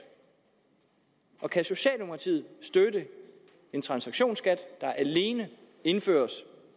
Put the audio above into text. og kan socialdemokratiet støtte en transaktionsskat der alene indføres